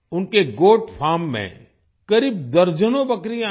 उनके goat farm में करीब दर्जनों बकरियां हैं